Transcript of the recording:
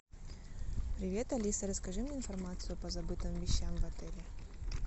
привет алиса расскажи мне информацию по забытым вещам в отеле